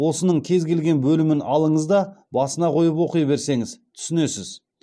осының кез келген бөлімін алыңыз да басына қойып оқи берсеңіз түсінесіз